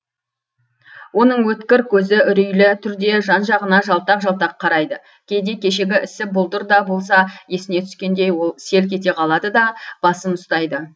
оның өткір көзі үрейлі түрде жан жағына жалтақ жалтақ қарайды кейде кешегі ісі бұлдыр да болса есіне түскендей ол селк ете қалады да басын ұстайды